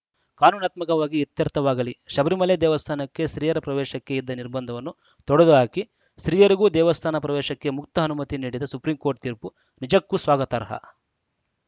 ಕಾನೂನಾತ್ಮಕವಾಗಿ ಇತ್ಯರ್ಥವಾಗಲಿ ಶಬರಿಮಲೆ ದೇವಸ್ಥಾನಕ್ಕೆ ಸ್ತ್ರೀಯರ ಪ್ರವೇಶಕ್ಕೆ ಇದ್ದ ನಿರ್ಬಂಧವನ್ನು ತೊಡೆದುಹಾಕಿ ಸ್ತ್ರೀಯರಿಗೂ ದೇವಸ್ಥಾನ ಪ್ರವೇಶಕ್ಕೆ ಮುಕ್ತ ಅನುಮತಿ ನೀಡಿದ ಸುಪ್ರೀಂಕೋರ್ಟ್‌ ತೀರ್ಪು ನಿಜಕ್ಕೂ ಸ್ವಾಗತಾರ್ಹ